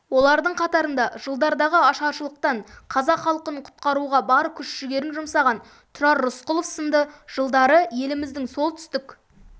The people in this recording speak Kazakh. олардың қатарында жылдардағы ашаршылықтан қазақ халқын құтқаруға бар күш-жігерін жұмсаған тұрар рысқұлов сынды жылдары еліміздің солтүстік